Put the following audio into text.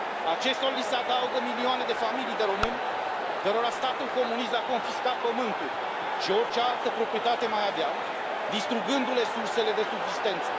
Acestora li se adaugă milioane de familii de români cărora Statul comunist le a confiscat pământul și orice altă proprietate mai aveau, distrugându le sursele de subzistență.